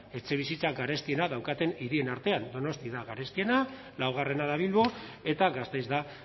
etxebizitza garestiena daukaten hirien artean donostia da garestiena laugarrena da bilbo eta gasteiz da